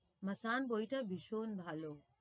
Masaan বইটা ভীষণ ভালো।